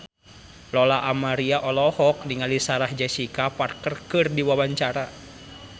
Lola Amaria olohok ningali Sarah Jessica Parker keur diwawancara